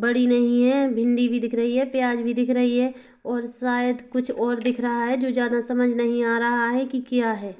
बड़ी नही है भिंडी भी दिख रही है प्याज़ भी दिख रही है और शायद कुछ और दिख रहा है जो ज़्यादा समझ नहीं आ रहा है की क्या है--